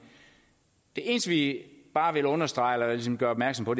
det eneste vi bare vil understrege eller ligesom gøre opmærksom på